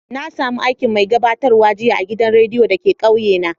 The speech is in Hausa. Na samo aikin mai gabatarwa jiya a'gidan radiyo da ke kauye na.